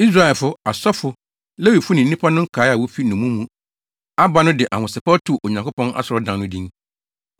Israelfo, asɔfo, Lewifo ne nnipa no nkae a wofi nnommum mu aba no de ahosɛpɛw too Onyankopɔn asɔredan no din.